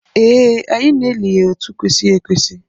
Ee, anyị na-eli ya otu kwesịrị ekwesị